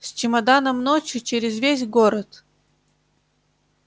с чемоданом ночью через весь город